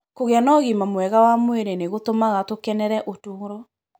Gũkorũo na ũgima mwega wa mwĩrĩ nĩ gũtũmaga tũkenere ũtũũro.